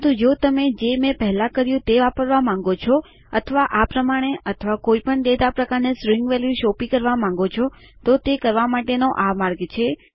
પરંતુ જો તમે જે મેં પેહલા કર્યું તેને વાપરવા માંગો છો અથવા આ પ્રમાણે અથવા કોઈ પણ ડેટા પ્રકારને સ્ટ્રીંગ વેલ્યુ સોંપી કરવા માંગો છો તો તે કરવા માટે આ માર્ગ છે